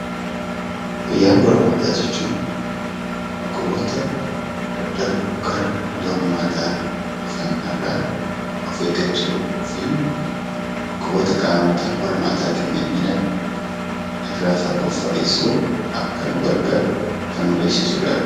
Fayyaa walhormaataa jechuun dhukkuboota karaa qaama saalaa daddarbanii fi dhufan irraa of eeggachuun barbaachisaadha. Akkasumas dhukkuboota qaama saalaa keenya keenya miidhan irraa of fagessuu qabna.